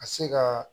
Ka se ka